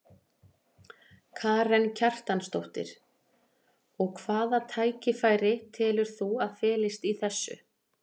Karen Kjartansdóttir: Og hvaða tækifæri telur þú að felist í þessu?